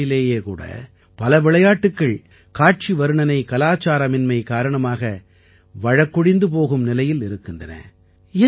நம் நாட்டிலேயே கூட பல விளையாட்டுக்கள் காட்சி வர்ணனை கலாச்சாரமின்மை காரணமாக வழக்கொழிந்து போகும் நிலையில் இருக்கின்றன